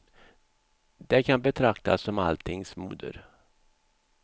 Det kan betraktas som alltings moder.